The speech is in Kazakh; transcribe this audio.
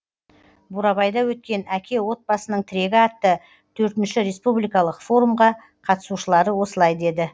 бурабайда өткен әке отбасының тірегі атты төртінші республикалық форумға қатысушылары осылай деді